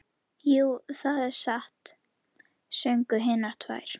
Jú, það er satt, sögðu hinar tvær.